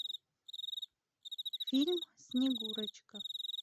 фильм снегурочка